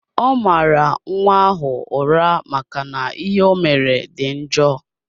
Ọ mara nwa ahụ ụra maka na ihe omere dị njọ.